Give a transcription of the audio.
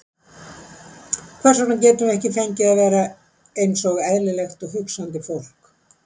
Hvers vegna getum við ekki fengið að vera einsog eðlilegt og hugsandi fólk?